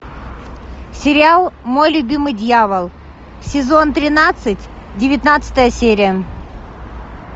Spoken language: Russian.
сериал мой любимый дьявол сезон тринадцать девятнадцатая серия